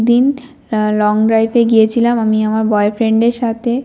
একদিন a long drive -এ গিয়েছিলাম আমি আমার বয়ফ্রেন্ড -এর সাথে।